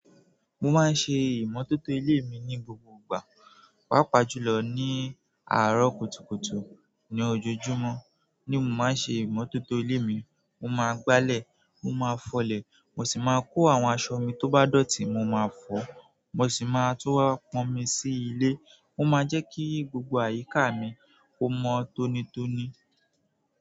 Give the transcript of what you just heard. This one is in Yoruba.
Mo máa ń ṣe ìmọ́tótó ilé mi ní gbogbo ìgbà, pàápàá jùlọ ní àárọ̀ kùtùkùtù ni ojojúmọ́ ni mo máa ń ṣe ìmọ́tótó ilé mi mo máa gbálẹ̀, mo máa fọlẹ̀, mo sì máa kó àwọn aṣọ mi tó bá dọ̀tí mo máa fọ̀, mo sì máa tú wá pọn omi sí ilé, ó máa jẹ́ kí gbogbo àyíká mi kó mọ tónítóní.